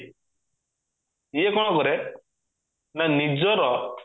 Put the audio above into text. ଇଏ କଣ କରେ ନା ନିଜର